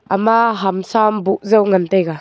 ama hamsa am boh jaw ngan taiga.